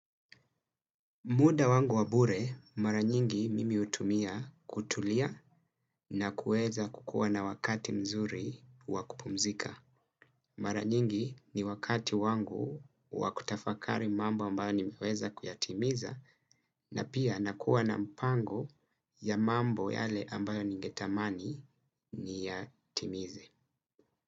Muda wangu wabure mara nyingi mimi hutumia kutulia na kuweza kukuwa na wakati mzuri wa kupumzika. Mara nyingi ni wakati wangu wakutafakari mambo ambayo nimeweza kuyatimiza na pia nakuwa na mpango ya mambo yale ambayo ningetamani niyatimize.